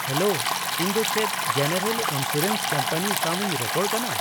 Hello, ᱤᱧ ᱫᱚ ᱪᱮᱫ ᱡᱮᱱᱟᱨᱮᱞ ᱤᱱᱥᱩᱨᱮᱱᱥ ᱠᱳᱢᱯᱟᱱᱤ ᱥᱟᱶᱤᱧ ᱨᱚᱯᱚᱲ ᱠᱟᱱᱟ ?